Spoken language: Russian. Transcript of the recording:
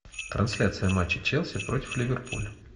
трансляция матча челси против ливерпуля